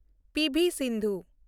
PV. Sindhu